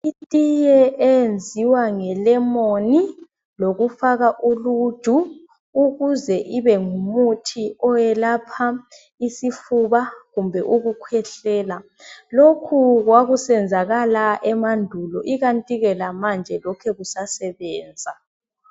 Itiye eyenziwa ngelemoni lolufaka uluju ukuze ibe ngumuthi oyelapha isifuba kumbe ukukhwehlela. Lokhu kwakusenzakala emandulo ikanti ke lamanje lokhe kusasebenza.